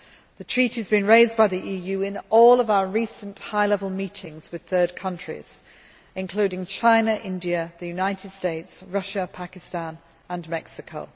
The treaty has been raised by the EU in all of our recent high level meetings with third countries, including China, India, US, Russia, Pakistan and Mexico.